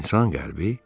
İnsan qəlbi?